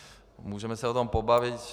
Můžeme se o tom bavit.